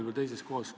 Tänan küsimuse eest!